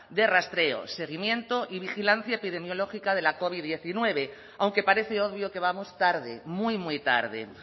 de rastreo seguimiento y vigilancia epidemiológica de la covid hemeretzi aunque parece obvio que vamos tarde muy muy tarde